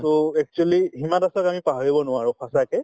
to actually Hima দাসক আমি পাহৰিব নোৱাৰো সঁচাকে